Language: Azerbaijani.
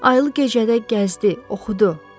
Ayılıq gecədə gəzdi, oxudu.